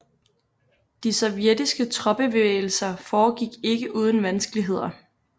De sovjetiske troppebevægelser foregik ikke uden vanskeligheder